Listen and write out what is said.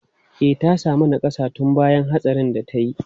E, ta sami nakassa tun bayan hatsarin da ta yi.